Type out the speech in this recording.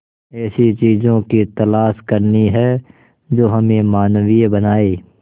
ऐसी चीजों की तलाश करनी है जो हमें मानवीय बनाएं